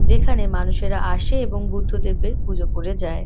যেখানে মানুষেরা আসে এবং বুদ্ধদেবের পুজো করে যায়।